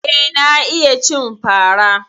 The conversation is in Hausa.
Eh, na iya cin fara.